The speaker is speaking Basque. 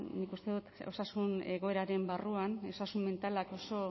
nik uste dut osasun egoeraren barruan osasun mentalak oso